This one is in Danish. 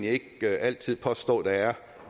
ikke altid påstå at der er